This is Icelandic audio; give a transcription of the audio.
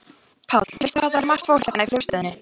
Páll: Veistu hvað það er margt fólk hérna í flugstöðinni?